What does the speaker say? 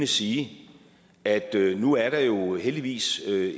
sige at nu er der jo heldigvis